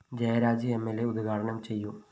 Jayaraj M ൽ അ ഉദ്ഘാടനം ചെയ്യും